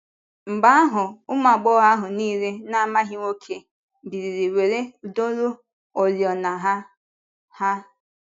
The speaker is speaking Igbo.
Mgbe ahụ ụmụ agbọghọ ahụ niile na-amaghị nwoke biliri wee dọrue oriọna ha.” ha.”